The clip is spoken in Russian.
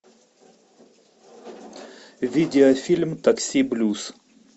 видеофильм такси блюз